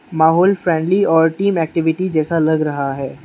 माहौल फ्रेंडली और team activity जैसा लग रहा है।